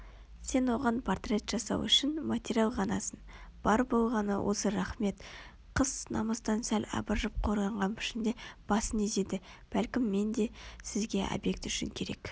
сен оған портрет жасау үшін материал ғанасың бар болғаны осы рақмет қыз намыстан сәл абыржып қорланған пішінде басын изеді бәлкім мен де сізге обьект үшін керек